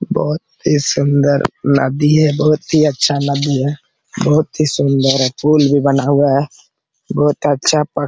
बहुत ही सुंदर नदी है बहुत ही अच्छा नदी है बहुत ही सुंदर है पुल भी बना हुआ है बहुत अच्छा पक--